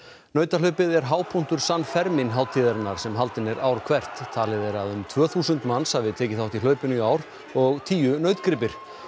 nautahlaupið er hápunktur San hátíðarinnar sem haldin er ár hvert talið er að um tvö þúsund manns hafi tekið þátt í hlaupinu í ár og tíu nautgripir